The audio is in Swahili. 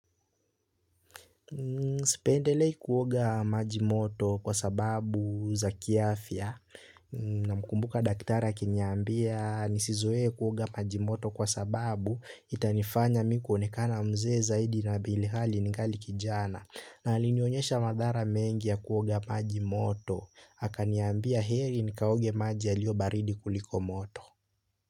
Sipendelei kuoga maji moto kwa sababu za kiafia namkumbuka daktari akiniambia nisizoe kuoga maji moto kwa sababu itanifanya mi kuonekana mzee zaidi na bilihali ningali kijana na alinyonyesha madhara mengi ya kuoga maji moto akaniambia heri nikaoge maji yalio baridi kuliko moto.